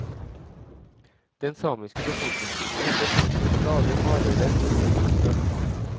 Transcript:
Den samiske befolkningsgruppen ble møtt med et stadig hardere fornorskningspress.